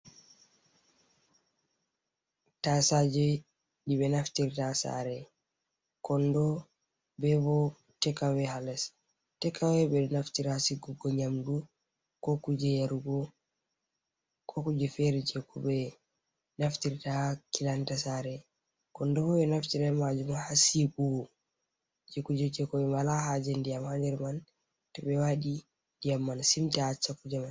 Tasaje ɗi ɓe naftirta ha sare, kondo ɓe bo tek awe ha les, tek awe ɓe ɗo naftiri ha sigugo nyamdu, ko kuje yarugo, ko kuje fere je ko ɓe naftiri ta ha kilanta sare, kondo bo ɓe ɗo naftiria be majum ha siwugo kuje je koi wala haje ndiyam ha nder man, to ɓe waɗi ndiyam man simta acca kuje man.